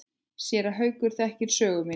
Séra Haukur þekkir sögu mína.